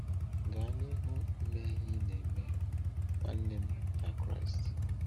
Gara n’ihu ime ihe ị na-eme, nwanne m na Kraịst.